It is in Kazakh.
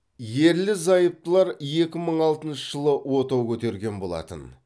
ерлі зайыптылар екі мың алтыншы жылы отау көтерген болатын